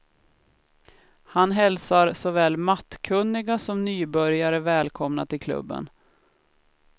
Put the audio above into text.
Han hälsar såväl mattkunniga som nybörjare välkomna till klubben.